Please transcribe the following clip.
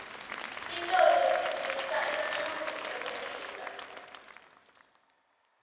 titolo letitsengisa emathulusi ekulima